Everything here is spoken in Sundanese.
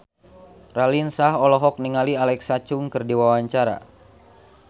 Raline Shah olohok ningali Alexa Chung keur diwawancara